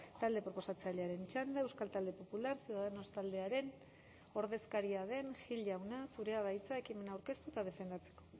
talde proposatzailearen txanda euskal talde popular ciudadanos taldearen ordezkaria den gil jauna zurea da hitza ekimena aurkeztu eta defendatzeko